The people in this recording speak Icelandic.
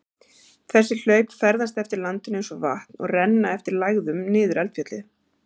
Þessi hlaup ferðast eftir landinu eins og vatn og renna eftir lægðum niður eldfjallið.